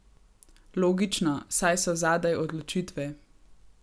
Logično, saj so zadaj odločitve.